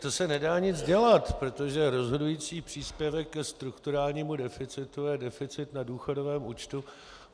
To se nedá nic dělat, protože rozhodující příspěvek k strukturálnímu deficitu je deficit na důchodovém účtu.